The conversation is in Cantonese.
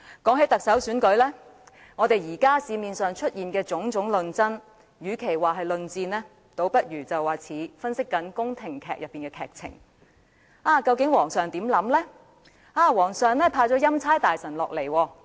談到特首選舉，社會上出現的種種討論，與其說是論戰，倒不如形容為好像宮廷劇的劇情分析：究竟皇上的想法是甚麼？